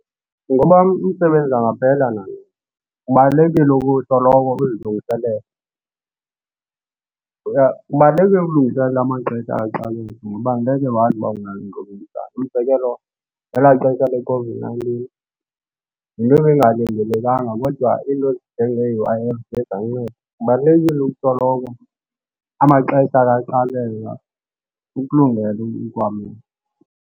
Ngoba umsebenzi angaphela nanini. Kubalulekile usoloko uzilungiselela. Kubaluleke ukulungiselela amaxesha kaxakeka ngoba ngeke wazi uba unayo . Umzekelo, ngela xesha leCOVID-nineteen yinto ebengalindelekanga kodwa into ezinjenge U_I_F ziye zanceda. Kubalulekile usoloko amaxesha ke xakeka ukulungele ukwamkela.